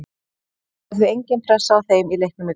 Það verður því engin pressa á þeim í leiknum í kvöld.